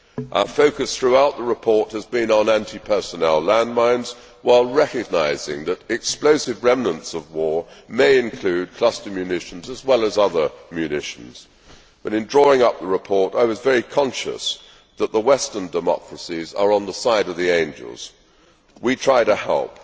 Our focus throughout the report has been on anti personnel landmines, while recognising that explosive remnants of war may include cluster munitions as well as other munitions. In drawing up the report I was very conscious that the Western democracies are on the side of the angels. We try to help.